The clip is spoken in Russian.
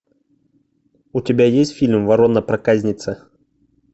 у тебя есть фильм ворона проказница